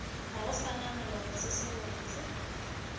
gago sa maloba se botse